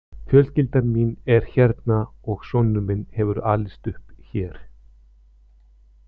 Fjölskyldan mín er hérna og sonur minn hefur alist upp hér.